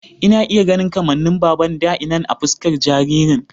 Ina iya ganin kamannin baban da innan a fuskar jaririn